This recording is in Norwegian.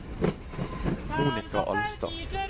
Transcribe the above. Monika Alstad